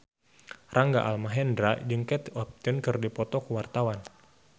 Rangga Almahendra jeung Kate Upton keur dipoto ku wartawan